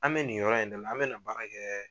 An bɛ nin yɔrɔ in dɛ la an bɛ na baara kɛ